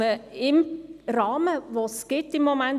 Der Name spielt keine Rolle.